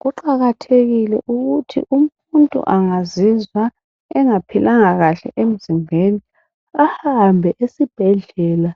Kuqakathekile ukuthi umuntu angazizwa engaphilanga kahle emzimbeni ahambe esibhedlela